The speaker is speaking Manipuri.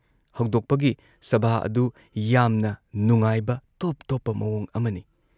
ꯍꯧꯗꯣꯛꯄꯒꯤ ꯁꯚꯥ ꯑꯗꯨ ꯌꯥꯝꯅ ꯅꯨꯡꯉꯥꯏꯕ ꯇꯣꯞ ꯇꯣꯞꯄ ꯃꯑꯣꯡ ꯑꯃꯅꯤ ꯫